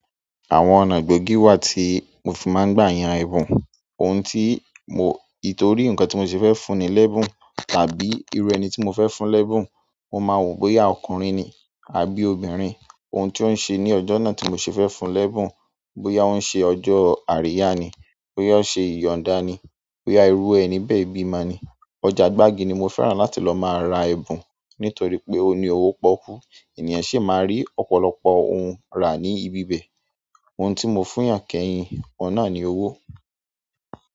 Àwọn ọ̀nà igbogii wá tí mo fi máa ń gbà yàn ẹbùn. Ohun tí mo-- itori ǹkan tí mo ṣe fẹ́ fún ni lẹ́bùn, tàbí irú ẹni tí mo fẹ́ fún lẹ́bùn. Mo máa wò bóyá ọkùnrin ni àbí obìnrin, ohun tí ó ń ṣe ní ọjọ́ náà tí mo ṣe fẹ́ fún lẹ́bùn, bóyá ó ń ṣe ọjọ́ àríyá ni, bóyá ó ń ṣe ìyọ̀nda ni, bóyá irú ẹni bẹ́ẹ̀ bi ọmọ ni. Ọjà gbági ni mo fẹ́ràn láti lọ máa ra ẹbùn nítorí pé ó ní owó pọ́kú, ènìyàn sì máa rí ọ̀pọ̀lọpọ̀ ohun rà ní ibi bẹ́ẹ̀. Ohun tí mo fún yàn kẹ́yin, ọ̀un nàa ni owó.